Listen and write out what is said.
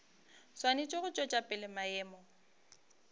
swanetše go tšwetša pele maemo